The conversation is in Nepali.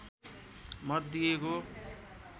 मत दिएको